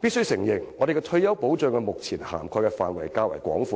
必須承認，我們的退休保障目前涵蓋的範圍較廣，